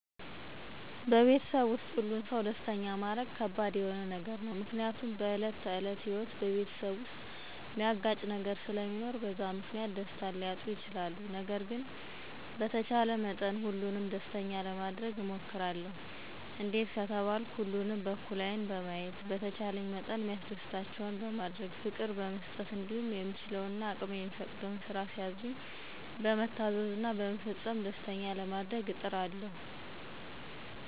በቤተሰብ ዉስጥ ሁሉን ሰው ደስተኛ ማረግ ከባድ የሆነ ነገር ነው፤ ምክንያቱም በዕለት ተዕለት ህይወት በቤተሰብ ዉስጥ ሚያጋጭ ነገር ስለሚኖር በዛ ምክንያት ደስታን ሊያጡ ይችላሉ። ነገር ግን በተቻለ መጠን ሁሉንም ደስተኛ ለማረግ እሞክራለሁ፤ እንዴት ከተባልኩ ሁሉንም በእኩል ዐይን በማየት፣ በተቻለኝ መጠን ሚያስደስታቸውን በማድረግ፣ ፍቅር በመስጠት እንዲሁም የምችለው እና አቅሜ የሚፈቅደውን ስራ ሲያዙኝ በመታዘዝ እና በመፈጸም ደስተኛ ለማረግ እጥራለሁ።